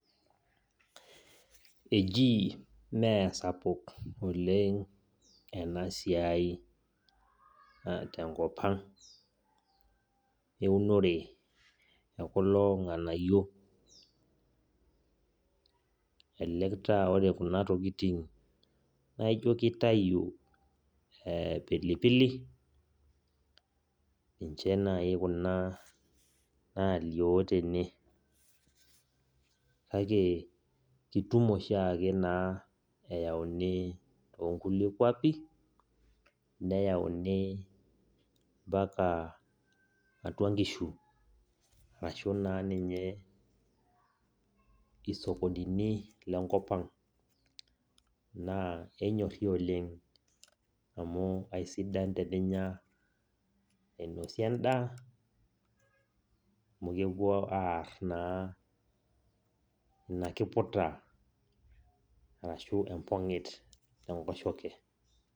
Ejii meesapuk oleng enasiai tenkop ang eunore ekulo ng'anayio. Elelek taa ore kuna tokiting naa ijo kitayu pilipili, ninche nai kuna nalio tene. Kake, kitum oshiake naa eyauni tonkulie kwapi, neyauni mpaka atua nkishu. Arashu naa ninye isokonini lenkop ang. Naa kenyorri oleng amu aisidan teninya ainosie endaa, amu kepuo aar naa inakiputa arashu empong'it enkoshoke.